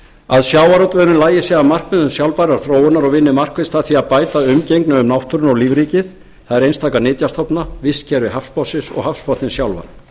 að sjávarútvegurinn lagi sig að markmiðum sjálfbærrar þróunar og vinni markvisst að því að bæta umgengni um náttúruna og lífríkið það er einstaka nytjastofna vistkerfi hafsbotnsins og hafsbotninn sjálfan